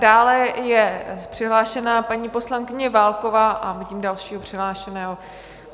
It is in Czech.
Dále je přihlášená paní poslankyně Válková a vidím dalšího přihlášeného.